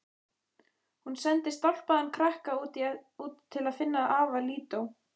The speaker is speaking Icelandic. Hún sendir stálpaðan krakka út til að finna afa Lídó.